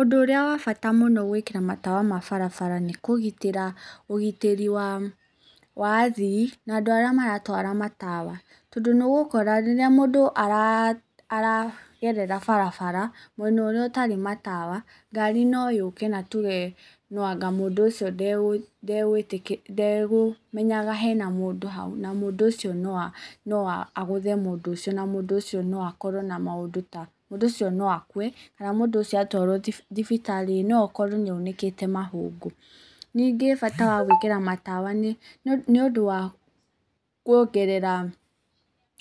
Ũndũ ũrĩa wa bata mũno gũĩkĩra matawa ma barabara nĩ kũgĩtĩra ũgĩtĩri wa athii na andũ arĩa maratwara matawa, tondũ nĩ ũgũkora rĩrĩa mũndũ aragerera barabara mwena ũrĩa ũtarĩ matawa, ngari no yũke na tuge no anga mũndũ ũcio ndegũmenyaga hena mũndũ hau, na mũndũ ũcio no agũthe mũndũ ũcio na mũndũ ũcio na akorwo na maũndũ ta, mũndũ ũcio no akue, kana mũndũ ũcio atwarwo thibitarĩ no akorwo n aunĩkĩte mahũngũ. Ningĩ bata wa gũĩkĩra matawa nĩ, nĩũndũ wa kuongerea